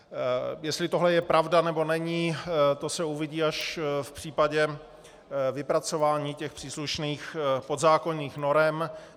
Jestli tohle je pravda, nebo není, to se uvidí až v případě vypracování těch příslušných podzákonných norem.